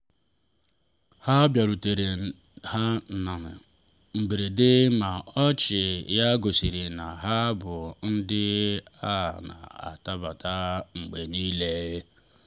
ha bịarutere na um mberede ma ọchị ya gosiri na ha bụ ndị a na-anabata mgbe niile